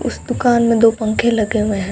उस दुकान में दो पंखे लगे हुए हैं।